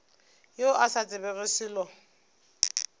yo a sa tsebego selo